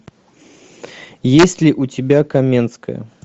есть ли у тебя каменская